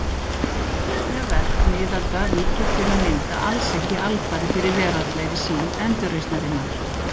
Trúarleg verk miðalda víkja til að mynda alls ekki alfarið fyrir veraldlegri sýn endurreisnarinnar.